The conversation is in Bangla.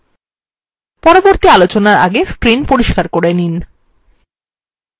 পরবর্তী আলোচনার আগে screen পরিস্কার করে নিন